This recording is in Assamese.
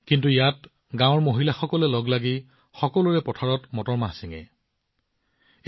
কিন্তু ইয়াত গাওঁখনৰ মহিলাসকলে একেলগে ইজনে সিজনৰ পথাৰৰ পৰা মটৰ ছিঙি একত্ৰিত হয়